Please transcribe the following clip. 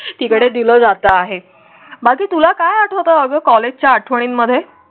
तिकडे दिला जात आहे माझे तुला काय आठवतं? अगं कॉलेजच आठवणींमध्ये.